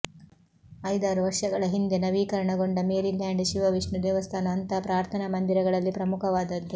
ಐದಾರು ವರ್ಷಗಳ ಹಿಂದೆ ನವೀಕರಣಗೊಂಡ ಮೇರಿಲ್ಯಾಂಡ್ ಶಿವವಿಷ್ಣು ದೇವಸ್ಥಾನ ಅಂಥ ಪ್ರಾರ್ಥನಾ ಮಂದಿರಗಳಲ್ಲಿ ಪ್ರಮುಖವಾದದ್ದು